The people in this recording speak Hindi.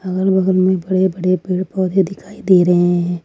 अगल बगल में बड़े बड़े पेड़ पौधे दिखाई दे रहे हैं।